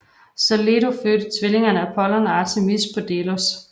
Så Leto fødte tvillingerne Apollon og Artemis på Delos